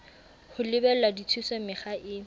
ho lebela dithuso mekga e